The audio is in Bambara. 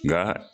Nka